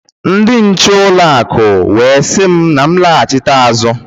Ndi nche ụlọ akụ wee si m m laghachita azụ.